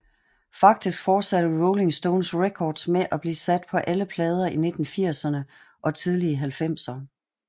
Faktisk forsatte Rolling Stones Records med at blive sat på alle plader i 1980erne og tidlige 1990er